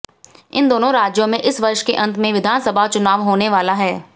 इन दोनों राज्यों में इस वर्ष के अंत में विधानसभा चुनाव होने वाले है